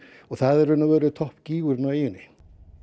og það er í raun og veru toppgígurinn á eyjunni